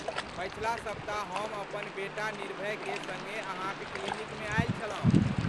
पछिला सप्ताह हम अपन बेटा निर्भयके संगे अहाँक क्लिनिकमे आयल छलहुँ।